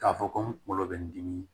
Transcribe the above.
K'a fɔ ko n kungolo bɛ n dimi